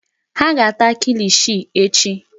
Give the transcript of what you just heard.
Ha ga-ata kilishi echi.